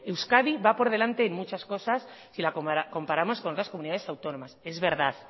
euskadi va por delante de muchas cosas si la comparamos con otras comunidades autónomas es verdad